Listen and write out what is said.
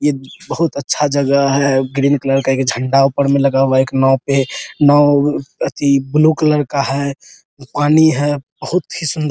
ये बहुत अच्छा जगह है ग्रीन कलर का एक झंडा ऊपर मे लगा हुआ है एक नाव पे नाव ए एथी ब्लू कलर का है पानी है बहुत ही सुन्दर --